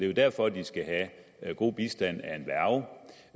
jo derfor de skal have god bistand